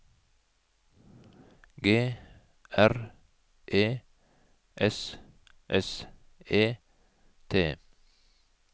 G R E S S E T